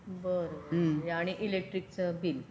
बरं आणि इलेकट्रीक चा बिल.